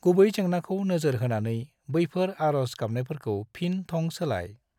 गुबै जेंनाखौ नोजोर होनानै बैफोर आर'ज गाबानायफोरखौ फिन थं सोलाय।